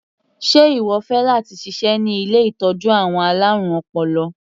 Sé ìwọ fẹ́ láti ṣiṣẹ́ ní ilé ìtọ́jú àwọn alárùn ọpọlọ?